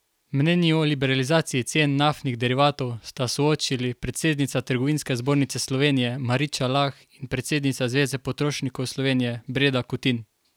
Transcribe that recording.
Mnenji o liberalizaciji cen naftnih derivatov sta soočili predsednica Trgovinske zbornice Slovenije Mariča Lah in predsednica Zveze potrošnikov Slovenije Breda Kutin.